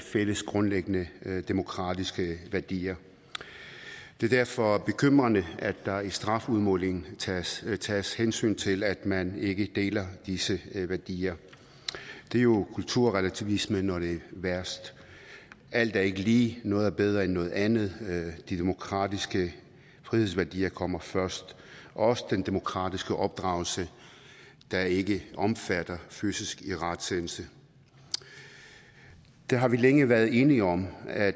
fælles grundlæggende demokratiske værdier det er derfor bekymrende at der i strafudmålingen tages tages hensyn til at man ikke deler disse værdier det er jo kulturrelativisme når det er værst alt er ikke lige noget er bedre end andet de demokratiske frihedsværdier kommer først og også den demokratiske opdragelse der ikke omfatter fysisk irettesættelse det har vi længe været enige om at